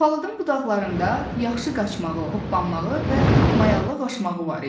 Palıdın budaqlarında yaxşı qaçmağı, hoppanmağı və mayallıq aşmağı var idi.